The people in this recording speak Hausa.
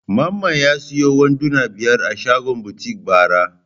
Mamman ya sayo wanduna biyar a shagon butik bara.